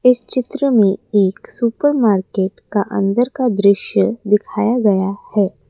इस चित्र में एक सुपर मार्केट का अंदर का दृश्य दिखाया गया है।